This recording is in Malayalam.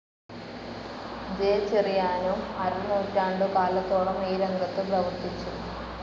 ജെ ചെറിയാനും അരനൂറ്റാണ്ടുകാലത്തോളം ഈ രംഗത്തു പ്രവർത്തിച്ചു.